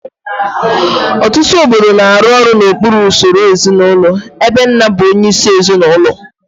Ọtụtụ obodo na-arụ ọrụ n'okpuru usoro ezinụlọ ebe nna bụ onyeisi ezinụlọ